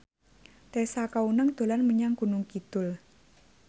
Tessa Kaunang dolan menyang Gunung Kidul